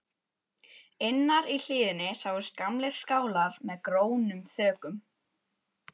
Innar í hlíðinni sáust gamlir skálar með grónum þökum.